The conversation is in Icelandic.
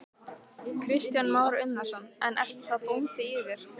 Kristján Már Unnarsson: En ertu þá bóndi í þér?